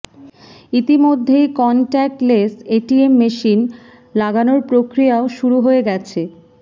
ইতিমধ্যেই contactless ATM machine লাগানোর প্রক্রিয়াও শুরু হয়ে গেছে